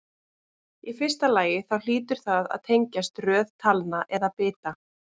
Í fyrsta lagi þá hlýtur það að tengjast röð talna eða bita.